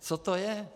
Co to je?